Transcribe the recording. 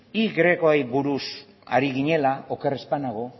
y ri buruz ari ginela oker ez banago